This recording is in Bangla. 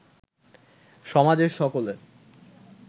সমাজের সকলে